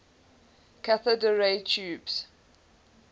cathode ray tubes